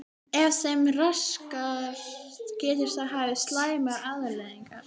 Ef þeim er raskað getur það haft slæmar afleiðingar.